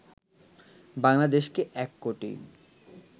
বাংলাদেশকে ১ কোটি